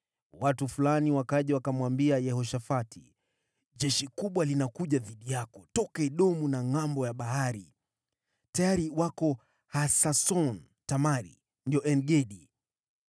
Watu fulani wakaja wakamwambia Yehoshafati, “Jeshi kubwa linakuja dhidi yako kutoka Edomu tokea ngʼambo ile nyingine ya Bahari. Tayari liko Hasason-Tamari” (yaani En-Gedi).